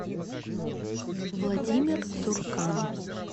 владимир цуркан